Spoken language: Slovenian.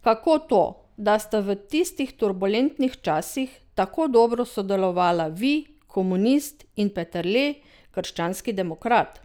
Kako to, da sta v tistih turbulentnih časih tako dobro sodelovala vi, komunist, in Peterle, krščanski demokrat?